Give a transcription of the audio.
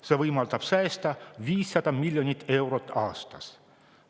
See võimaldab säästa 500 miljonit eurot aastas.